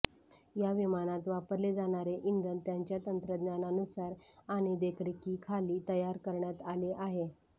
या विमानात वापरले जाणारे इंधन त्यांच्या तंत्रज्ञानानुसार आणि देखरेखीखाली तयार करण्यात आले आहे